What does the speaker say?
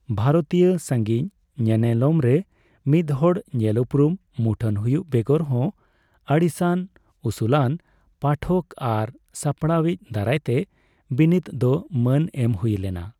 ᱵᱷᱟᱨᱚᱛᱤᱭᱟᱹ ᱥᱟᱸᱜᱤᱧ ᱧᱮᱱᱮᱞᱚᱢ ᱨᱮ ᱢᱤᱫᱦᱚᱲ ᱧᱮᱞᱩᱯᱨᱩᱢ ᱢᱩᱴᱷᱟᱹᱱ ᱦᱩᱭᱩᱜ ᱵᱮᱜᱚᱨ ᱦᱚᱸ, ᱟᱹᱲᱤᱥᱟᱱ ᱩᱥᱩᱞᱟᱱ ᱯᱟᱴᱷᱚᱠ ᱟᱨ ᱥᱟᱯᱲᱟᱣᱤᱡ ᱫᱟᱨᱟᱭᱛᱮ ᱵᱤᱱᱤᱛ ᱫᱚ ᱢᱟᱹᱱ ᱮᱢ ᱦᱩᱭ ᱞᱮᱱᱟ ᱾